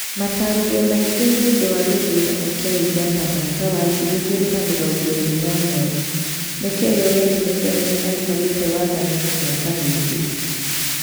Matarĩrio maingĩ nĩũndu wa gĩthurano kĩa Uganda mwaka wa ngiri igiri na mĩrongo ĩĩri na ũmwe :Nĩkĩĩ Yoweri Musevi aikarĩte wathanine mĩaka mingĩ ?